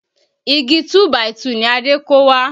Igi 2 by 2 ni Adé kó wá